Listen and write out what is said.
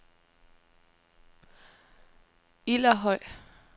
Ilderhøj